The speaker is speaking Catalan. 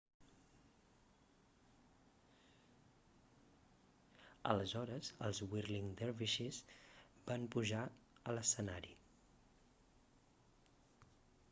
aleshores els whirling dervishes van pujar a lescenari